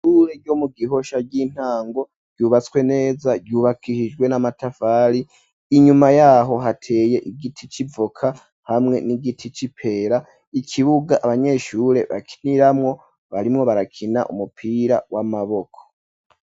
Ishure ryo mu Gihosha ry'intango ryubatswe neza ryubakihijwe n'amatafari ,inyuma yaho hateye igiti civoka hamwe n'igiti c'ipera ,ikibuga abanyeshure bakiniramwo barimwo barakina umupira w'amaboko.